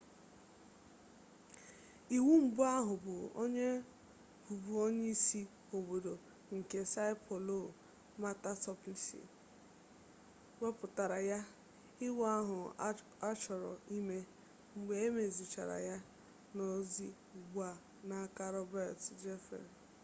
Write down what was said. iwu mbụ ahụ bụ onye bụbu onyeisi obodo nke são paulo marta suplicy wepụtara ya. iwu ahụ achọrọ ime mgbe e mezichara ya nọzi ugbu a n’aka roberto jefferson